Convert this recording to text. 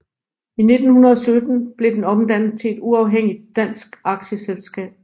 I 1917 blev den omdannet til et uafhængigt dansk aktieselskab